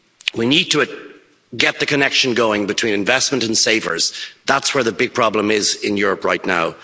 We need to get the connection going between investment and savers. That's where the big problem is in Europe right now.